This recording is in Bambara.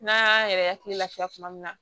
N'an y'an yɛrɛ hakili lafiya tuma min na